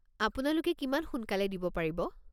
আপোনালোকে কিমান সোনকালে দিব পাৰিব?